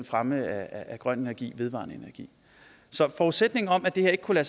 fremme af grøn energi vedvarende energi så forudsætningen om at det her ikke kunne